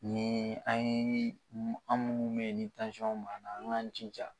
Nin an ye an munu beyi ni b'an na an k'an jija.